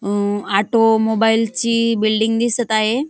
अ automobile ची building दिसत आहे.